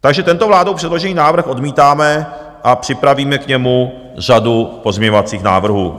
Takže tento vládou předložený návrh odmítáme a připravíme k němu řadu pozměňovacích návrhů.